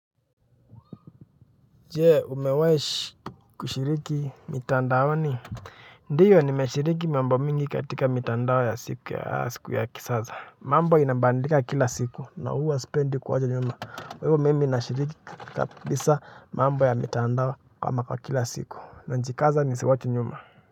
Je umewahi kushiriki mitandao ni ndiyo ni meshiriki mambo mingi katika mitandao ya siku ya asiku ya kisasa mambo inabadilika kila siku na huwa sipendi kuwacha nyumba kwa hiyo mimi ninashiriki kabisa mambo ya mitandao kwa maka kila siku najikaza nisiwachwe nyuma.